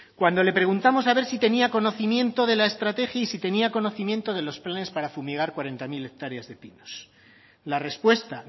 cuando le preguntamos a ver si tenía conocimiento de la estrategia y si tenía conocimiento de los planes para fumigar cuarenta mil hectáreas de pinos la respuesta